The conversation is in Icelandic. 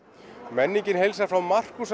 menningin heilsar frá